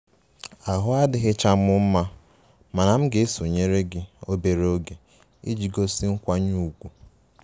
Ahụ adịchaghị m mma mana m ka sonyeere obere oge iji gosi nkwanye ùgwù